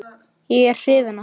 Er ég hrifinn af honum?